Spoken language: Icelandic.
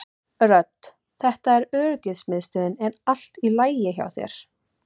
Rödd: Þetta er öryggismiðstöðin er allt í lagi hjá þér?